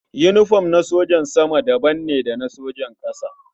Yinifom na sojan sama daban ne da na sojan ƙasa.